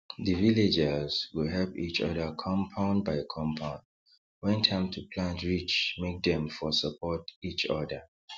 the villagers go help each other compound by compound when time to plant reach make dem for support each other